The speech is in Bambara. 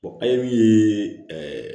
min ye